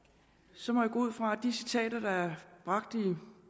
så må jeg gå ud fra at de citater der er bragt i